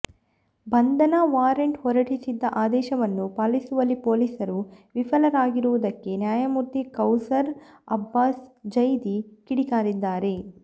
ಬಂಧನ ವಾರೆಂಟ್ ಹೊರಡಿಸಿದ್ದ ಆದೇಶವನ್ನು ಪಾಲಿಸುವಲ್ಲಿ ಪೊಲೀಸರು ವಿಫಲರಾಗಿರುವುದಕ್ಕೆ ನ್ಯಾಯಮೂರ್ತಿ ಕೌಸರ್ ಅಬ್ಬಾಸ್ ಝೈದಿ ಕಿಡಿಕಾರಿದ್ದಾರೆ